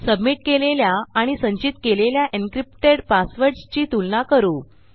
submit केलेल्या आणि संचित केलेल्या एन्क्रिप्टेड पासवर्डसची तुलना करू